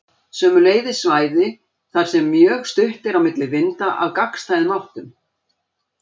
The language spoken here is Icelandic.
Sömuleiðis svæði þar sem mjög stutt er á milli vinda af gagnstæðum áttum.